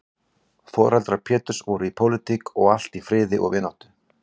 Foreldrar Péturs voru í pólitík og allt í friði og vináttu.